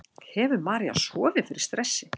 Hefur María sofið fyrir stressi?